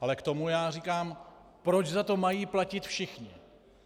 Ale k tomu já říkám: Proč za to mají platit všichni?